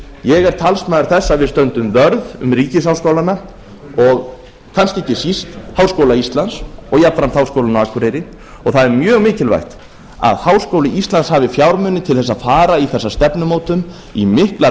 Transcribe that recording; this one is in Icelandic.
ég er talsmaður þess að við stöndum vörð um ríkisháskólana og kannski ekki síst háskóla íslands og jafnframt háskólann á akureyri og það er mjög mikilvægt að háskóli íslands hafi fjármuni til þess að fara í þessa stefnumótun í miklar